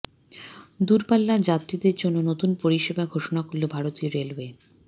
দূরপাল্লা যাত্রীদের জন্য নতুন পরিষেবা ঘোষণা করল ভারতীয় রেলওয়ে